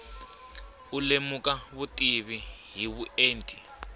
u lemuka vutivi hi vuenti